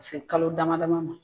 Ka se kalo dama dama ma.